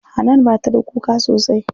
Hanan bata da kuka sosai.